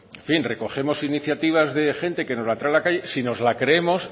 en fin recogemos iniciativas de gente que nos la trae a la calle si nos la creemos